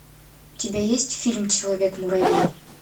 у тебя есть фильм человек муравей